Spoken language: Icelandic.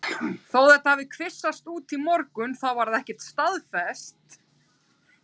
Þó þetta hafi kvisast út í morgun þá var það ekkert staðfest.